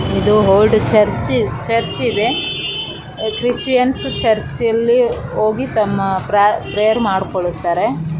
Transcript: ಇದು old church church ಇದೆ. Christians church ಅಲ್ಲಿ ಹೋಗಿ ತಮ್ಮ ಪ್ರಾ ಪ್ರೇಯರ್ ಮಾಡ್ ಕೊಳುತ್ತಾರೆ .